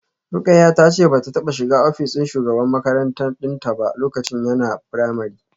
Rukayyah tace bata taba shiga office din shugaban makaranta dinta ba lokacin yana primary